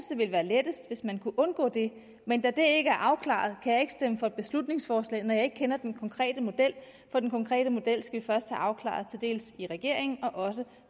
det ville være lettest hvis man kunne undgå det men da det ikke er afklaret kan jeg ikke stemme for beslutningsforslaget når jeg ikke kender den konkrete model for den konkrete model skal vi først have afklaret i regeringen og også